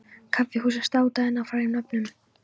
Kaffihúsin státa enn af frægum nöfnum.